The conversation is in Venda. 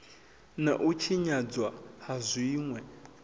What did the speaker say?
na u tshinyadzwa ha zwinwe